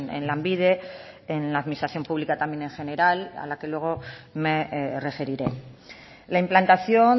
en lanbide en la administración pública también en general a la que luego me referiré la implantación